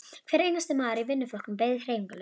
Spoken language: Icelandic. Hver einasti maður í vinnuflokknum beið hreyfingarlaus.